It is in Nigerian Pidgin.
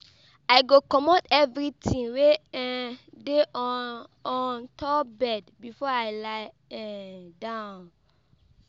I go comot evertin wey um dey on on top bed before I lie um down.